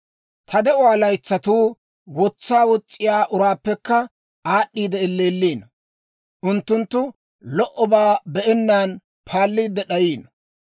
«Ta de'uwaa laytsatuu wotsaa wos's'iyaa uraappekka aad'd'iide elleelliino; unttunttu lo"obaa be'ennaan paalliide d'ayiino.